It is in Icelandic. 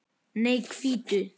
Nei, hvítu.